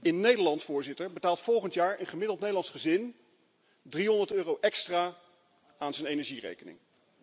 In Nederland, Voorzitter, betaalt volgend jaar een gemiddeld Nederlands gezin 300 euro extra aan zijn energierekening.